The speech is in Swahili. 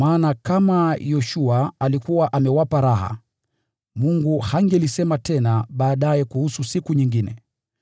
Kwa maana kama Yoshua alikuwa amewapa raha, Mungu hangesema tena baadaye kuhusu siku nyingine.